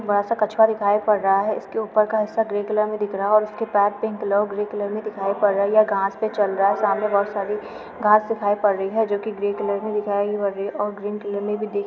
कछुआ दिखाई पड़ रहा है| इसके ऊपर का हिस्सा ग्रे कलर में दिख रहा है और इसके पैर पिंक ग्रीन कलर में दिखाई पड़ रहा है| ये घास पे चल रहा हैं | सामने बहोत सारी घास दिखाई पड़ रही हैं जो कि ग्रे कलर में दिखाई पड़ रही है और ग्रीन कलर में दिख --